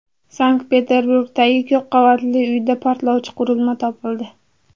Sankt-Peterburgdagi ko‘p qavatli uyda portlovchi qurilma topildi.